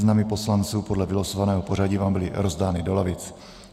Seznamy poslanců podle vylosovaného pořadí vám byly rozdány do lavic.